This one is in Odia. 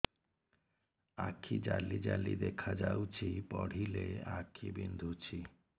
ଆଖି ଜାଲି ଜାଲି ଦେଖାଯାଉଛି ପଢିଲେ ଆଖି ବିନ୍ଧୁଛି